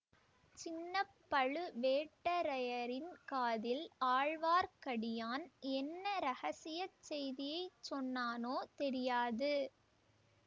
சின்ன பழுவேட்டரையரின் காதில் ஆழ்வார்க்கடியான் என்ன இரகசிய செய்தியை சொன்னானோ தெரியாது